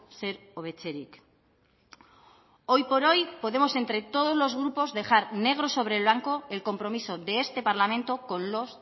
zer hobetzerik hoy por hoy podemos entre todos los grupos dejar negro sobre blanco el compromiso de este parlamento con los